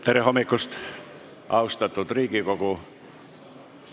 Tere hommikust, austatud Riigikogu!